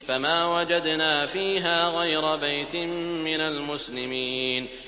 فَمَا وَجَدْنَا فِيهَا غَيْرَ بَيْتٍ مِّنَ الْمُسْلِمِينَ